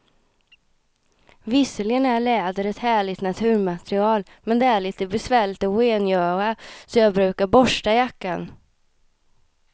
Visserligen är läder ett härligt naturmaterial, men det är lite besvärligt att rengöra, så jag brukar borsta jackan.